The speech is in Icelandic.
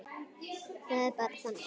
Það er bara það.